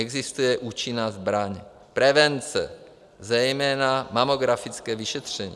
Existuje účinná zbraň - prevence, zejména mamografické vyšetření.